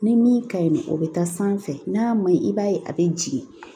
Ni min ka ɲi nɔ o bɛ taa sanfɛ n'a ma ɲi i b'a ye a bɛ jigin